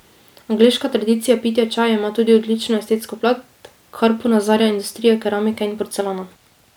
Angleška tradicija pitja čaja ima tudi odlično estetsko plat, kar ponazarja industrija keramike in porcelana.